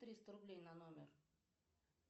триста рублей на номер